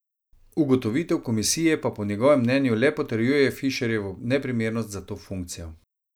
Ugotovitev komisije pa po njegovem mnenju le potrjuje Fišerjevo neprimernost za to funkcijo.